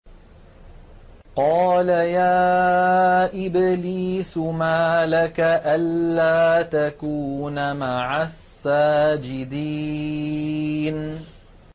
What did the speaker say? قَالَ يَا إِبْلِيسُ مَا لَكَ أَلَّا تَكُونَ مَعَ السَّاجِدِينَ